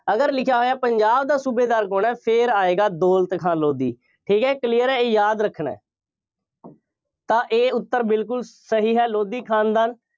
ਅਗਰ ਲਿਖਿਆ ਹੋਇਆ, ਪੰਜਾਬ ਦਾ ਸੂਬੇਦਾਰ ਕੌਣ ਹੈ। ਫੇਰ ਆਏਗਾ ਦੌਲਤ ਖਾਂ ਲੋਧੀ। ਠੀਕ ਹੈ, clear ਹੈ, ਇਹ ਯਾਦ ਰੱਖਣਾ। ਤਾਂ ਇਹ ਉੱਤਰ ਬਿਲਕੁੱਲ ਸਹੀ ਹੈ। ਲੋਧੀ ਖਾਨਦਾਨ